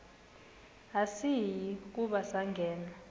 asiyi kuba sangena